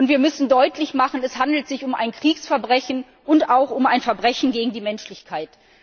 Wir müssen deutlich machen Es handelt sich um ein Kriegsverbrechen und auch um ein Verbrechen gegen die Menschlichkeit.